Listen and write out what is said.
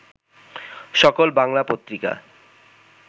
সকল বাংলা পত্রিকা